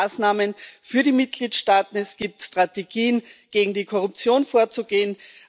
Da gibt es Maßnahmen für die Mitgliedstaaten es gibt Strategien, gegen die Korruption vorzugehen